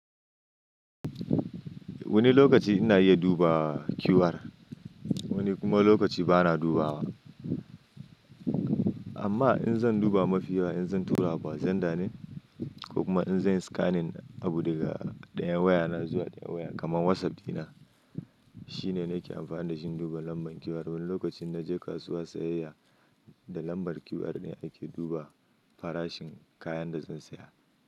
Wani lokaci ina iya duba QR, wani kuma lokaci bana dubawa. Amma in zan duba mafi yawa in zan tura abu a zenda ne ko kuma in zan scanning abu daga ɗayan wayana zuwa ɗayan waya kamar WhatsApp dina shine nake amfani da shi in duba lambar QR. Wani lokaci in naje kasuwa sayayya da lambar QR ne ake duba farashin kayan da zan saya.